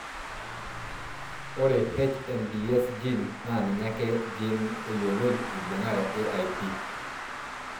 Ore HMBS gene naa ninye ake gene oyioloi eibungare AIP.